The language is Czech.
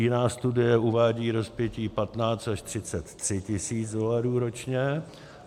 Jiná studie uvádí rozpětí 15 až 33 tis. dolarů ročně.